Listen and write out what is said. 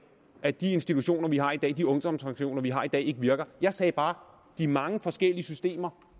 at de institutioner vi har i dag og de ungdomssanktioner vi har i dag ikke virker jeg sagde bare om de mange forskellige systemer